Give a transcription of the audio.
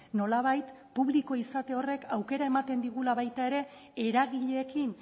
nolabait publiko izate horrek aukera ematen digula baita ere eragileekin